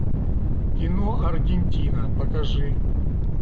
кино аргентина покажи